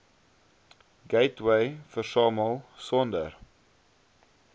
gateway versamel sonder